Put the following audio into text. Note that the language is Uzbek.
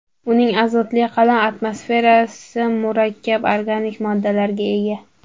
Uning azotli qalin atmosferasi murakkab organik moddalarga ega.